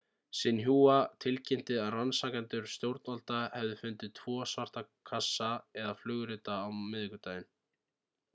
xinhua tilkynnti að rannsakendur stjórnvalda hefðu fundið tvo ,svarta kassa'/flugrita á miðvikudaginn